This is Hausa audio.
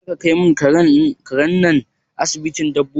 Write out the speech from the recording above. Zaka kai mun karen nan asibitin dabbobi?